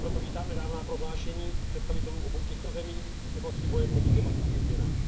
Proto vítám nedávná prohlášení představitelů obou těchto zemí v oblasti boje proti klimatickým změnám.